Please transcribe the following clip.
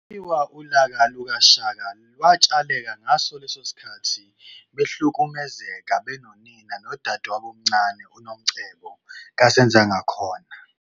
Kuthiwa ulaka lukaShaka lwatshaleka ngaso lesisikhathi behlukumezeka benonina nodadewabo omncane uNomcebo kaSenzangakhona.